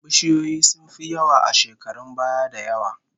Bishiyoyi sun fi yawa a shekarun baya da yawa